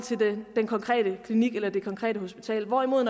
den konkrete klinik eller det konkrete hospital hvorimod at